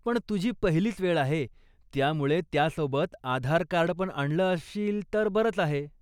पण तुझी पहिलीच वेळ आहे, त्यामुळे त्यासोबत आधारकार्डपण आणलं असशील तर बरंच आहे.